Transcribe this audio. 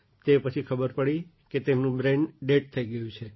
તે પછી ખબર પડી કે તેમનું બ્રેઇન ડેડ થઈ ગયું છે